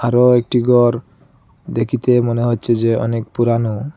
বড় একটি গর দেখিতে মনে হচ্ছে যে অনেক পুরানো।